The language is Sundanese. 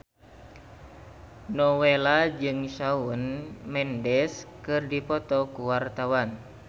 Nowela jeung Shawn Mendes keur dipoto ku wartawan